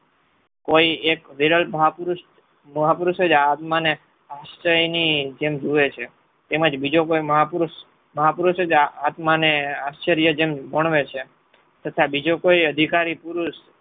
હોય એક વિરલ મહાપુરુષ મહાપુરુષ જ આ આત્મને આશ્ચર્યની જેમ જોવે છે. એમ જ બીજો કોઈ મહાપુરુષ જ આત્મને આશ્ચર્યજન ગુણવે છે તથા બીજો કોઈ અધિકારી પુરુષ